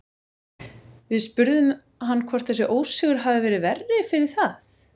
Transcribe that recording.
Við spurðum hann hvort þessi ósigur hafi verið verri fyrir það?